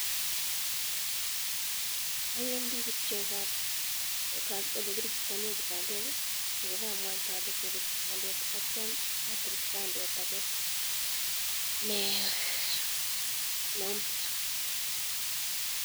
Awendi kityo, ole kirejistanek kibandok akibamwaite ale kopet kibandet atyam atil kibandet ake neumpya.